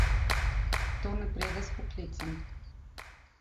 To ne pride s poklicem.